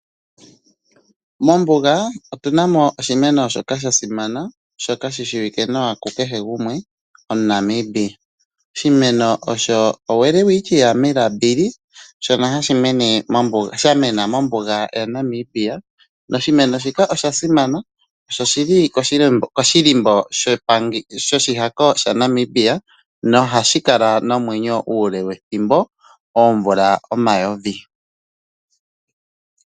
Mombunga otunamo oshimeno shasima shoka shishiwike kukehe gumwe omuNamibia, oshimeno osho Welwitchia Melambili shono shamena mombunga yaNamibia. Oshimeno shika oshasimana osho shili koshilimbo shoshihako shaNamibia nohashi kala nomwenyo uule wethimbo, oomvula omayovi.